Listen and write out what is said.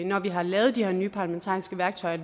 når vi har lavet de her nye parlamentariske værktøjer